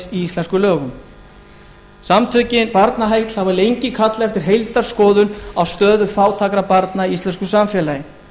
íslenskum lögum samtökin barnaheill hafa lengi kallað eftir heildarskoðun á stöðu fátækra barna í íslensku samfélagi